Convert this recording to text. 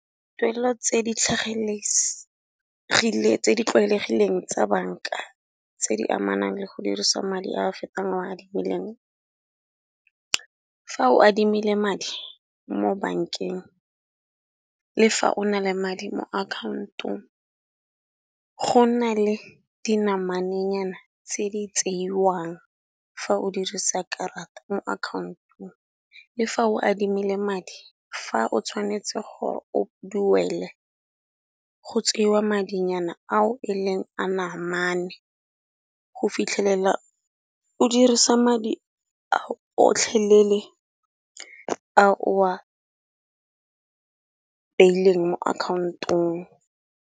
Tuelo tse di tlwaelegileng tsa banka tse di amanang le go dirisa madi a a fetang a o a adimileng. Fa o adimile madi mo bankeng le fa o na le madi mo account-ong, go na le dinamane nyana tse di tseiwang fa o dirisa karata mo account-ong. Le fa o adimile madi fa o tshwanetse gore o duele go tseiwa madinyana ao e leng a namane go fitlhelela o dirisa madi ao otlhelele a o beileng mo account-ong.